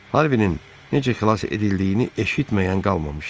Harvinin necə xilas edildiyini eşitməyən qalmamışdı.